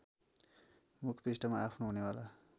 मुखपृष्ठमा आफ्नो हुनेवाला